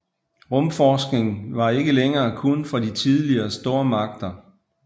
Rumforskning var ikke længere kun for de tidligere stormagter